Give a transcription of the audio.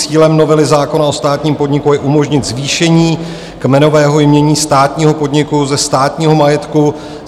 Cílem novely zákona o státním podniku je umožnit zvýšení kmenového jmění státního podniku ze státního majetku.